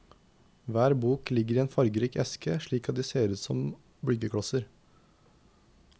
Hver bok ligger i en fargerik eske slik at de ser ut som byggeklosser.